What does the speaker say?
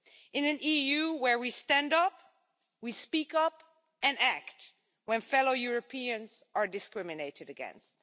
in an EU where we stand up, we speak up and act when fellow Europeans are discriminated against.